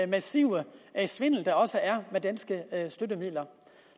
massive svindel der også er med danske støttemidler